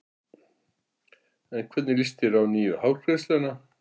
En hvernig líst þér á nýju hárgreiðsluna?